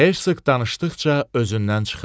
Hersoq danışdıqca özündən çıxırdı.